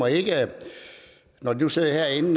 ikke når de nu sidder herinde